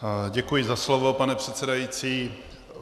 Děkuji za slovo, pane předsedající.